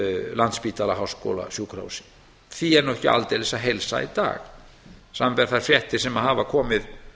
landspítala háskólasjúkrahús því er nú ekki aldeilis að heilsa í dag samanber þær fréttir sem hafa komið